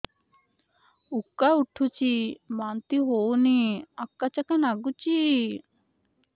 ଉକା ଉଠୁଚି ବାନ୍ତି ହଉନି ଆକାଚାକା ନାଗୁଚି